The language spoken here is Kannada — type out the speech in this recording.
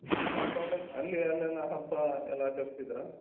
College ಅಲ್ಲಿ ಅಲ್ಲೆಲ್ಲ ಹಬ್ಬ ಎಲ್ಲ ಆಚರಿಸ್ತಿದ್ರಾ?